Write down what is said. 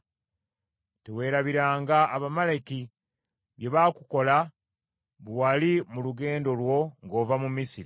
Teweerabiranga Abamaleki bye baakukola bwe wali mu lugendo lwo ng’ova mu Misiri.